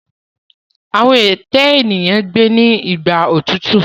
Àwọn ète eniyan gbé ní Igbà òtútù.